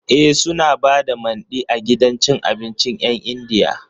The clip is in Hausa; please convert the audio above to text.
E, suna ba da Mandi a gidan cin abincin 'yan Indiyan.